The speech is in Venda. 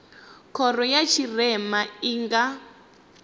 khoro ya tshirema i nga